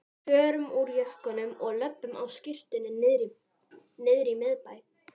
Förum úr jökkunum og löbbum á skyrtunni niðrí miðbæ!